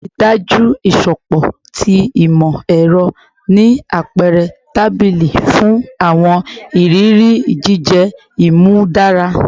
Rii daju iṣọpọ ti imọ-ẹrọ ni apẹrẹ tabili fun awọn iriri jijẹ imudara